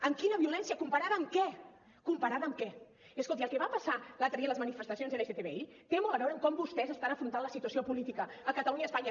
amb quina violència comparada amb què comparada amb què i escolti el que va passar l’altre dia a les manifestacions lgbti té molt a veure amb com vostès estan afrontant la situació política a catalunya i a espanya